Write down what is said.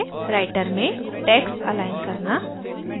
writer में text align करना